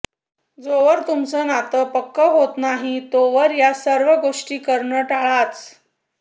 जोवर तुमचं नातं पक्क होतं नाही तोवर या सर्व गोष्टी करणं टाळाच